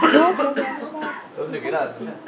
Var þetta hroki, af því að hann sat í fangelsi?